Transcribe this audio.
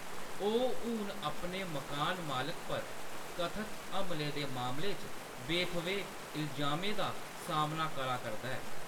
ओह्‌‌ हून अपने मकान मालक पर कथत हमले दे मामले च बेथ'वे इल्जामें दा सामना करा करदा ऐ।